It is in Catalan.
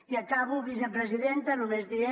i acabo vicepresidenta només dient